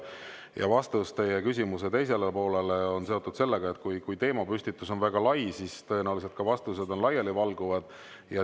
Ja vastus teie küsimuse teisele poolele on seotud sellega, et kui teemapüstitus on väga lai, siis tõenäoliselt on ka vastused laialivalguvad.